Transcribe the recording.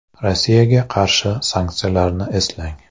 Rossiyaga qarshi sanksiyalarni eslang.